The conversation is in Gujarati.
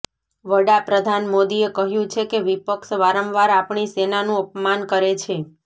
વડાપ્રધાન મોદીએ કહ્યુ છે કે વિપક્ષ વારંવાર આપણી સેનાનું અપમાન કરે છે